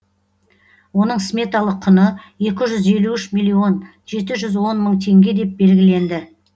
оның сметалық құны екі жүз елу үш милллион жеті жүз он мың теңге деп белгіленді